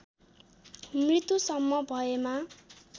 मृत्युसम्म भएमा